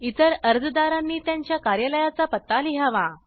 इतर अर्जदारांनी त्यांच्या कार्यालयाचा पत्ता लिहावा